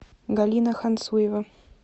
галина ханцуева